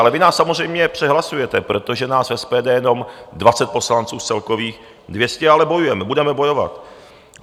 Ale vy nás samozřejmě přehlasuje, protože nás v SPD jenom 20 poslanců z celkových 200, ale bojujeme, budeme bojovat.